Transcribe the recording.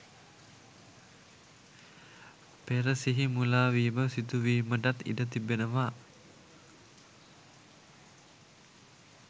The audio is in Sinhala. පෙර සිහි මුලාවීම සිදුවීමටත් ඉඩ තිබෙනවා.